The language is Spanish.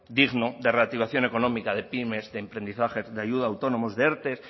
digno de reactivación económica de pymes de emprendizaje de ayuda a autónomos de erte